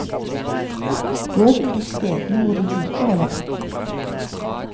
Gå til de stedene hvor de rike holder til.